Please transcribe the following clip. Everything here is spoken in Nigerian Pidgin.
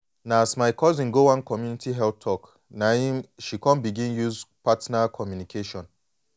na as my cousin go one community health talk na em she come begin use partner communication